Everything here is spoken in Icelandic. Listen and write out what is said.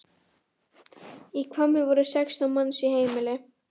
Í Hvammi voru sextán manns í heimili.